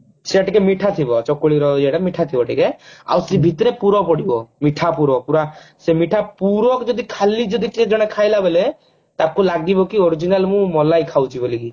ସେ ଟିକେ ମିଠା ଥିବ ଚକୁଳି ର ଇଏ ମିଠା ଥିବ ଟିକେ ଆଉ ସେ ଭିତରେ ପୁର ପଡିବ ମିଠା ପୁର ପୁରା ସେ ମିଠା ପୁର କୁ ଯଦି ଖାଲି ଯଦି ଖାଇଲା ବେଲେ ତାକୁ ଲାଗିବ କି original ମୁଁ ମଲାଇ ଖାଉଛି ବୋଲିକି